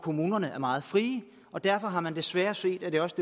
kommunerne er meget fri derfor har man desværre set at det også